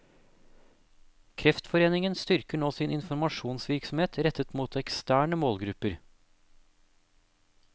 Kreftforeningen styrker nå sin informasjonsvirksomhet rettet mot eksterne målgrupper.